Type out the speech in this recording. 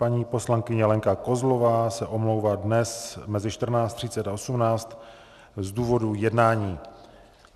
Paní poslankyně Lenka Kozlová se omlouvá dnes mezi 14.30 až 18 z důvodu jednání.